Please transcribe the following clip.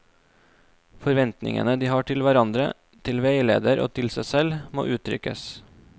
Forventningene de har til hverandre, til veileder og til seg selv, må uttrykkes.